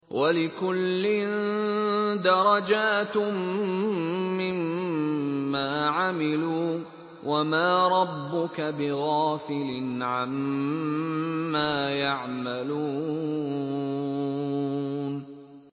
وَلِكُلٍّ دَرَجَاتٌ مِّمَّا عَمِلُوا ۚ وَمَا رَبُّكَ بِغَافِلٍ عَمَّا يَعْمَلُونَ